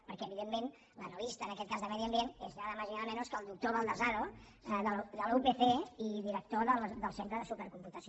perquè evidentment l’analista en aquest cas de medi ambient és nada más y nada menos que el doctor baldasano de la upc i director del centre de supercomputació